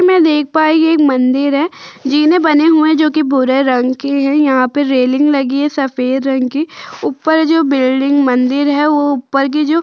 मैं देख पायी ये एक मंदिर है। जीने बने हुए हैं जो कि भूरे रंग के हैं। यहाँ पे रेलिंग लगी है सफेद रंग की। ऊपर जो बिल्डिंग मंदिर है वो ऊपर की जो --